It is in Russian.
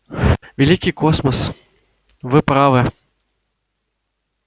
великий космос вы правы